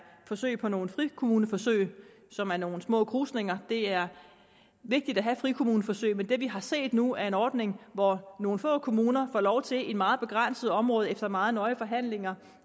forsøg på nogle frikommuneforsøg som er nogle små krusninger det er vigtigt at have frikommuneforsøg men det vi har set nu er en ordning hvor nogle få kommuner får lov til meget begrænset område efter meget nøje forhandlinger